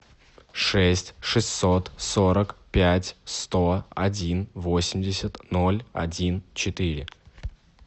шесть шестьсот сорок пять сто один восемьдесят ноль один четыре